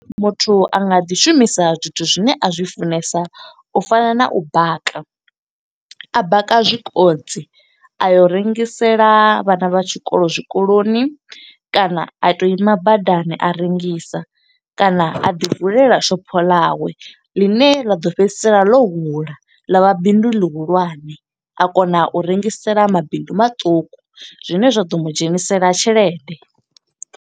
Muthu a nga ḓi shumisa zwithu zwine a zwi funesa, u fana na u baka. A baka zwikontsi, a yo rengisela vhana vha tshikolo zwikoloni, kana a to ima badani a rengisa. Kana a ḓi vulela shopho ḽawe, ḽine ḽa ḓo fhedzisela ḽo hula ḽa vha bindu ḽihulwane. A kona u rengisela mabindu maṱuku, zwine zwa ḓo mu dzhenisela tshelede.